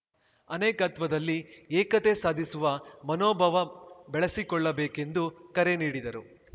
ಅನೇಕತ್ವದಲ್ಲಿ ಏಕತೆ ಸಾಧಿಸುವ ಮನೋಭಾವ ಬೆಳೆಸಿಕೊಳ್ಳಬೇಕೆಂದು ಕರೆ ನೀಡಿದರು